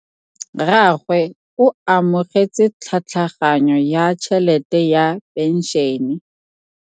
Rragwe o amogetse tlhatlhaganyô ya tšhelête ya phenšene.